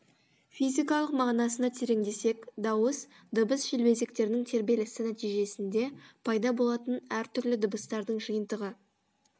физикалық мағынасына тереңдесек дауыс дыбыс желбезектерінің тербелісі нәтижесінде пайда болатын әр түрлі дыбыстардың жиынтығы